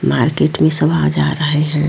Market में सब आ जा रहे है।